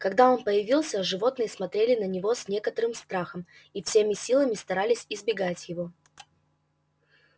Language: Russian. когда он появился животные смотрели на него с некоторым страхом и всеми силами старались избегать его